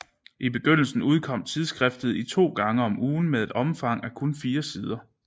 I begyndelsen udkom tidsskriftet to gange om ugen med et omfang af kun fire sider